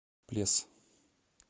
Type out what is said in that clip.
плес